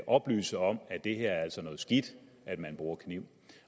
oplyse om at det altså er noget skidt at man bruger kniv